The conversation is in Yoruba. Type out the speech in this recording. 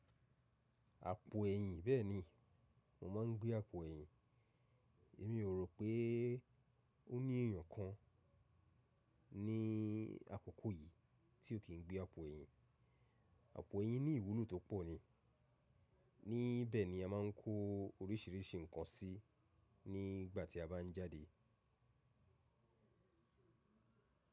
Àpò ẹ̀yìn bẹ́ẹ̀ni, mo ma ń gbé àpò ẹ̀yìn. Èmi ò rò pé ó ní ẹ̀yàn kan ní àkókò yìí tí ò kí ń gbé àpò ẹ̀yìn. Àpò ẹ̀yìn ní ìwúlò tó pọ̀ ni. Ní bẹ̀ ni a máa ń kó oríṣìíríṣìí nǹkan sí nígbà tí a bá ń jáde.